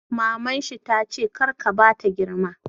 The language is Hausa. Maman shi tace 'kar ka bata girma'!